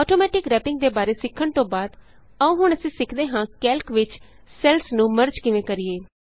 automatic wrapping ਦੇ ਬਾਰੇ ਸਿੱਖਣ ਤੋਂ ਬਾਅਦ ਆਉ ਹੁਣ ਅਸੀਂ ਸਿੱਖਦੇ ਹਾਂ ਕੈਲਕ ਵਿਚ ਸੈੱਲਸ ਨੂੰ ਮਰਜ ਕਿਵੇਂ ਕਰੀਏ